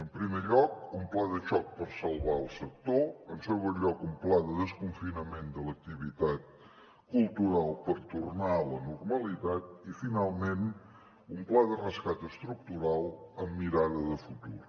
en primer lloc un pla de xoc per salvar el sector en segon lloc un pla de desconfinament de l’activitat cultural per tornar a la normalitat i finalment un pla de rescat estructural amb mirada de futur